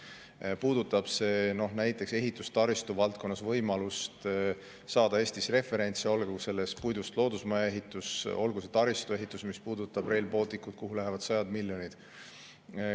See puudutab ehitustaristu valdkonnas võimalust saada Eestis referentse, olgu puidust loodusmaja ehitus või taristu ehitus, näiteks Rail Baltic, kuhu lähevad sajad miljonid.